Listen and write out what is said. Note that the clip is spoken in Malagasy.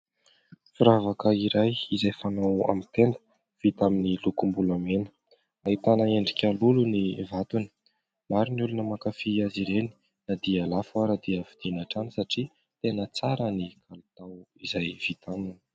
Firavaka iray izay fanao aminy tenda vita amin'ny lokom-bolamena ahitana endrika lolo ny vatony, maro ny olona makafy azy ireny na dia lafo ara dia vidiana hatrany satria tena tsara ny kalitao izay vita aminy.